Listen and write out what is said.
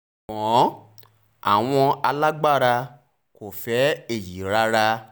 ṣùgbọ́n àwọn alágbára kò fẹ́ èyí rárá